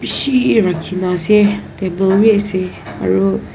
bishi rakhina ase table wi ase aru.